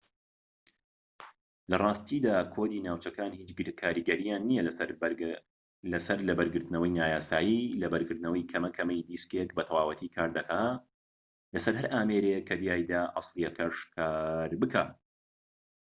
لە ڕاستیدا کۆدی ناوچەکان هیچ کاریگەریەکیان نیە لەسەر لەبەرگرتنەوەی نایاسایی لەبەرگرتنەوەی کەمەکەمەی دیسکێك بە تەواوەتی کار دەکات لەسەر هەر ئامێرێك کە تیایدا ئەسڵیەکەش کار بکات